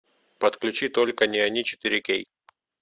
подключи только не они четыре кей